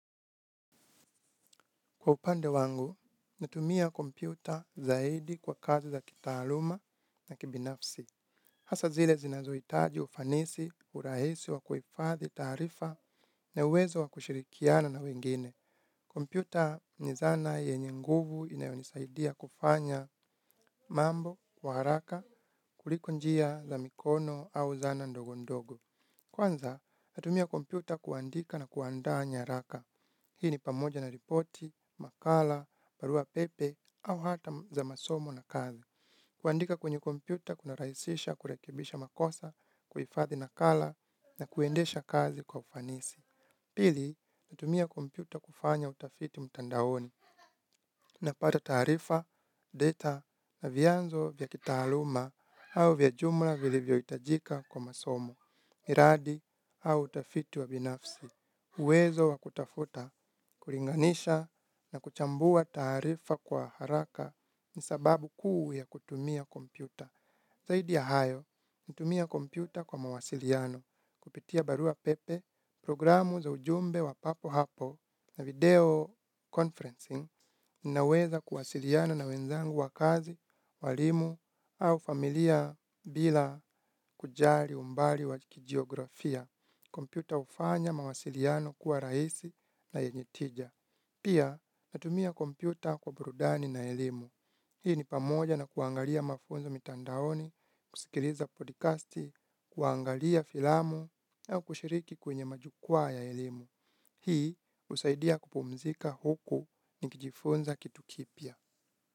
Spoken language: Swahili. Kwa upande wangu natumia kompyuta zaidi kwa kazi za kitaaluma na kibinafsi. Hasa zile zinazohitaji ufanisi urahisi wa kuhifadhi taarifa na uwezo wa kushirikiana na wengine. Kompyuta ni zana yenye nguvu inayonisaidia kufanya mambo kwa haraka kuliko njia za mikono au zana ndogondogo. Kwanza natumia kompyuta kuandika na kuandaa nyaraka. Hii ni pamoja na ripoti makala barua pepe au hata za masomo na kazi. Kuandika kwenye kompyuta kuna rahisisha kurekebisha makosa kuhifadhi nakala na kuendesha kazi kwa ufanisi. Pili natumia kompyuta kufanya utafiti mtandaoni. Napata taarifa, data na vyanzo vya kitaaluma au vya jumla vilivyo hitajika kwa masomo. Miradi au utafiti wa binafsi. Uwezo wa kutafuta kulinganisha na kuchambua taarifa kwa haraka ni sababu kuu ya kutumia kompyuta. Zaidi ya hayo natumia kompyuta kwa mawasiliano. Kupitia barua pepe programu za ujumbe wa papo hapo na video conferencing. Ninaweza kuwasiliana na wenzangu wa kazi walimu au familia bila kujali umbali wa kijiografia. Kompyuta hufanya mawasiliano kuwa rahisi na yenye tija. Pia natumia kompyuta kwa burudani na elimu. Hii ni pamoja na kuangalia mafunzo mitandaoni kusikiliza podikasti kuangalia filamu na kushiriki kwenye majukwaa ya elimu. Hii husaidia kupumzika huku nikijifunza kitu kipya.